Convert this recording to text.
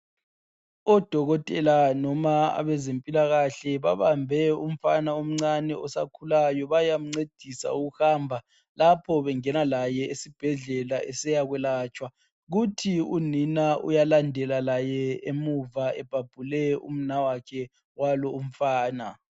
Odokotela noma abezempilakahle babambe umfana omncane osakhulayo bayamncedisa ukuhamba lapho bengena laye esibhedlela esiyakwelatshwa kuthi unina uyalandela laye emuva ebhabhule umnawakhe walo umfana.